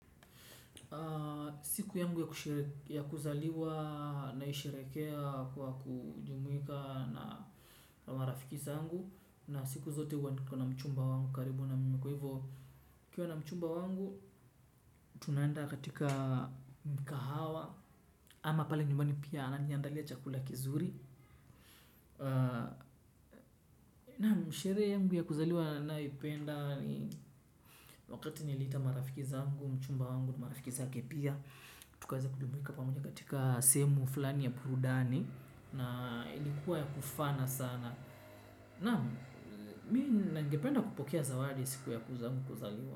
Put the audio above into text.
Siku yangu ya kuzaliwa naisherehekea kwa kujimuika na marafiki zangu. Na siku zote huwa niko na mchumba wangu karibu na kwa hivo nikiwa na mchumba wangu tunaenda katika mikahawa. Ama pale nyumbani pia ananiandalia chakula kizuri. Naam sherehe yangu ya kuzaliwa ninayoipenda ni wakati niliita marafiki zangu, mchumba wangu, marafikiza zake pia. Tukaza kujumuika pamoja katika sehemu fulani ya burudani. Na ilikuwa ya kufana sana. Naam mimi ningependa kupokea zawadi siku yangu kuzaliwa.